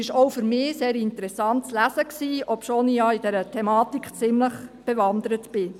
Auch für mich war diese sehr interessant zu lesen, obwohl ich in dieser Thematik ziemlich bewandert bin.